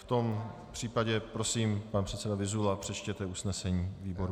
V tom případě prosím, pan předseda Vyzula, přečtěte usnesení výboru.